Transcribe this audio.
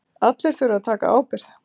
Allir þurfa að axla ábyrgð